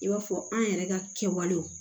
I b'a fɔ an yɛrɛ ka kɛwalew